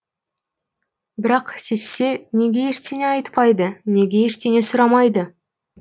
бірақ сезсе неге ештеңе айтпайды неге ештеңе сұрамайды